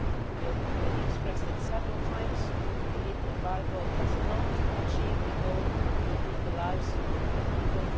We have already expressed it several times, we believe the embargo does not achieve the goal of improving the lives of the Cuban people.